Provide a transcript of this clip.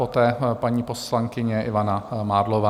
Poté paní poslankyně Ivana Mádlová.